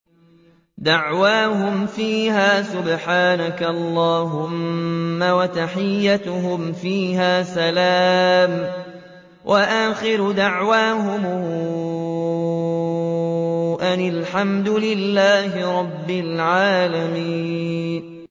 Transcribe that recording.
دَعْوَاهُمْ فِيهَا سُبْحَانَكَ اللَّهُمَّ وَتَحِيَّتُهُمْ فِيهَا سَلَامٌ ۚ وَآخِرُ دَعْوَاهُمْ أَنِ الْحَمْدُ لِلَّهِ رَبِّ الْعَالَمِينَ